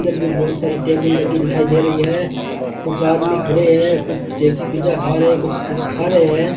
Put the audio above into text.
इधर भी बहोत सारे टेबल लगी दिखाई दे रही है कुछ आदमी खड़े हैं कुछ पिज़्ज़ा खा रहे हैं कुछ-कुछ खा रहे हैं।